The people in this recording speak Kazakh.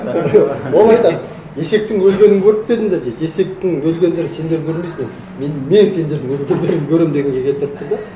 ол айтады есектің өлгенін көріп пе едіңдер дейді есектің өлгендерін сендер көрмейсіңдер мен сендердің өлгендеріңді көремін дегенге келтіріп тұр да